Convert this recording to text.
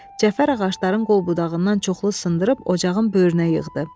Cəfər ağacların qol-budağından çoxlu sındırıb ocağın böyrünə yığdı.